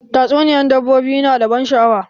Tatsuniyan dabbobi ya na da ban sha'awa.